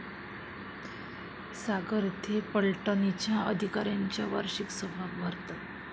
सागर येथे पलटणींच्या अधिकाऱ्यांच्या वार्षिक सभा भरतात.